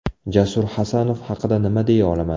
Jasur Hasanov haqida nima deya olaman?